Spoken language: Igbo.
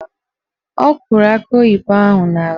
Ọ kụrụ akị oyibo ahụ n'ala